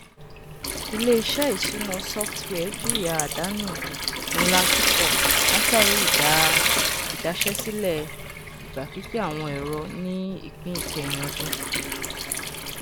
iléisé ìṣúná software jìyà àdánù ńlá púpọ látàrí idaṣẹsílẹ ìgbà pípẹ àwọn ẹrọ ni ìpín ìkẹyìn ọdún